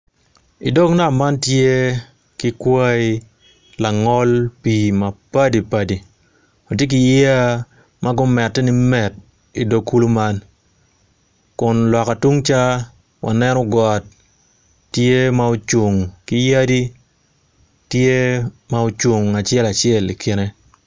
I dog nam man tye ki kwai langol pii mapadipadi ma gumette i met i dog kulu man kun loka tung ca waneno got tye ma ocung ki yadi tye ma ocung acel acel i kine.